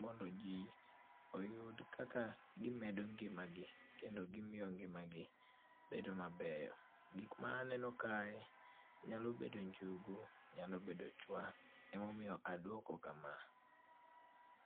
mondo ji oyud kaka gimedo ngimagi, kendo gimiyo ngimagi bedo mabeyo. Gik ma aneno kae nyalo bedo njugu, nyalo bedo chwa, ema omiyo aduok kama.